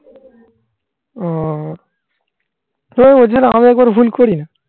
ও তো এছাড়া আমি একবার ভুল করি না.